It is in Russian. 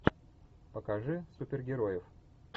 покажи супергероев